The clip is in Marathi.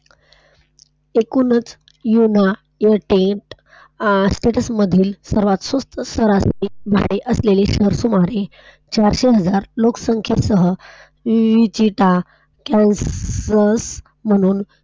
एकूणच येतील स्टेट्स मधील सर्वात स्वस्त भाडे असलेले शहर समजले. लोकसंख्या . म्हणून